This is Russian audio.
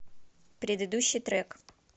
предыдущий трек